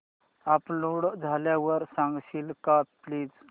upload झाल्यावर सांगशील का प्लीज